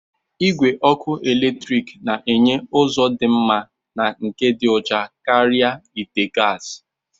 Igwe ọkụ eletrik na-enye ụzọ dị mma na nke dị ọcha karịa ite gasi.